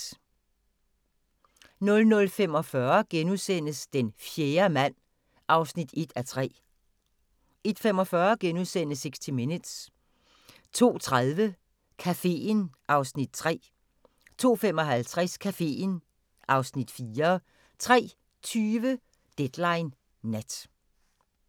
00:45: Den fjerde mand (1:3)* 01:45: 60 Minutes * 02:30: Caféen (Afs. 3) 02:55: Caféen (Afs. 4) 03:20: Deadline Nat